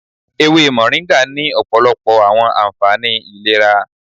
Ewe Moringa ni ọpọlọpọ awọn anfani ilera